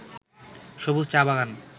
সবুজ চা-বাগান